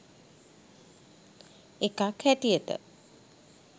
එකක් හැටියට.